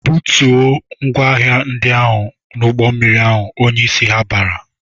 "Butuo ngwaahịa ndị ahụ n'ụgbọmmiri ahụ!" Onyeisi ha bara.